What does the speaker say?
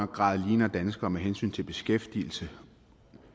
grad ligner danskere med hensyn til beskæftigelse